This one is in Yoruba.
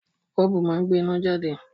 Bọ́ọ̀bù máa ń gbé iná jáde